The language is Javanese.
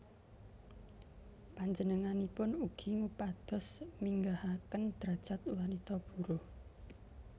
Panjenenganipun ugi ngupados minggahaken drajat wanita buruh